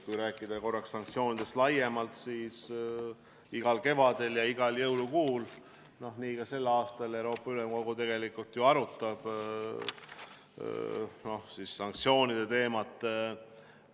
Kui rääkida korraks sanktsioonidest laiemalt, siis igal kevadel ja igal jõulukuul, nii ka sel aastal, Euroopa Ülemkogu ju arutab Venemaa-vastaste sanktsioonide teemat.